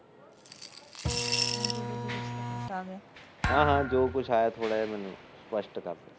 ਹਮ ਹਮ ਜੋ ਕੁਛ ਆਇਆ ਮੈਨੂੰ ਸਪਸ਼ਟ ਕਰ